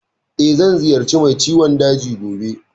Eh, zan ziyarci mai ciwon daji gobe.